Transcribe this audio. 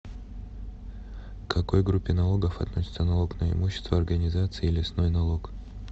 к какой группе налогов относятся налог на имущество организаций и лесной налог